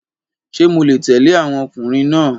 Ṣé mo lè tẹ̀lé àwọn ọkùnrin náà?